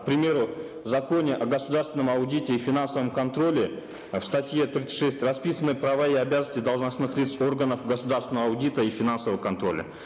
к примеру в законе о государственном аудите и финансовом контроле в статье тридцать шесть расписаны права и обязанности должностных лиц органов государственного аудита и финансового контроля